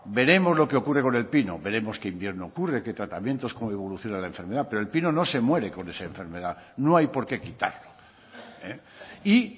veremos lo que ocurre con el pino veremos qué invierno ocurre qué tratamientos cómo evoluciona la enfermedad pero el pino no se muere con esa enfermedad no hay porqué quitarlo y